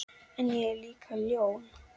En ég er líka ljón.